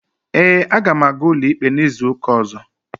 Ee, aga m aga ụlọikpe n'izuụka ọ̀zọ́.